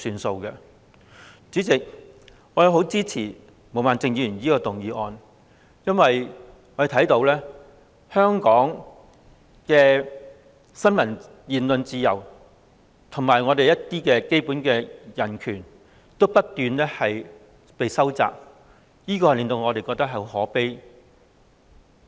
代理主席，我十分支持毛孟靜議員這項議案，因為香港的新聞和言論自由，以及我們的基本人權均不斷被收窄，我們對此感到很可悲。